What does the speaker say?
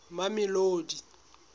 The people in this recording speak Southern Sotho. mamelodi